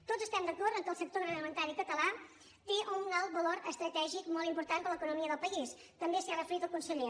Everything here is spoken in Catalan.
tots estem d’acord que el sector agroalimentari català té un alt valor estratègic molt important per a l’economia del país també s’hi ha referit el conseller